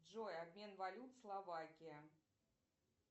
джой обмен валют словакия